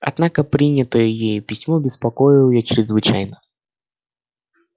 однако принятое ею письмо беспокоило её чрезвычайно